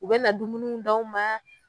U bɛna na dumunwi d'aw ma.